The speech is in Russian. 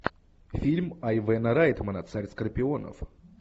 фильм айвена райтмана царь скорпионов